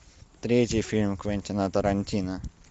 третий фильм квентина тарантино